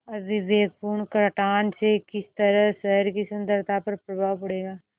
अविवेकपूर्ण कटान से किस तरह शहर की सुन्दरता पर प्रभाव पड़ेगा